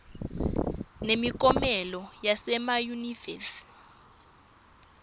nemiklomelo yasema yunivesi